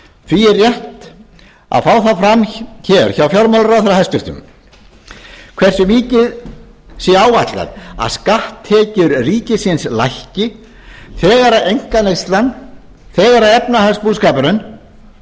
því er rétt að fá það fram hér hjá fjármálaráðherra hversu mikið sé áætlað að skatttekjur ríkisins lækki þegar einkaneyslan þegar efnahagsbúskapurinn verður